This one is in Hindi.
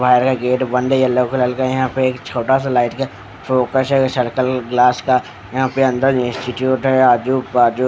बाहर का गेट बंद है येलो कलर का है यहाँ पर एक छोटा सा लाइट का फोकस है सर्कल ग्लास का यहाँ पर अंदर इंस्टीट्यूट आजू बाजू --